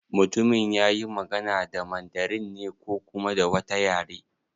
Mutumin yayi magana da Mandarin ne ko kuma da wata yare?